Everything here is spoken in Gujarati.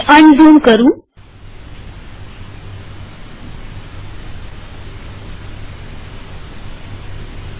અને અનઝૂમ કરું છું